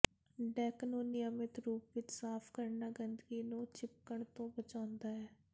deck ਨੂੰ ਨਿਯਮਤ ਰੂਪ ਵਿਚ ਸਾਫ਼ ਕਰਨਾ ਗੰਦਗੀ ਨੂੰ ਚਿਪਕਣ ਤੋਂ ਬਚਾਉਂਦਾ ਹੈ